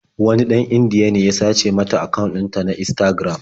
Wani ɗan Indiya ne ya sace mata akawun ɗinta na Instagram.